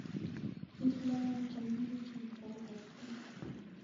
pis logoek che mengechen sait ag'etugul